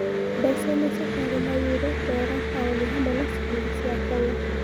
Mbecaini icio kwari na yuro, ndora paũni hamwe na ciringi cia Kenya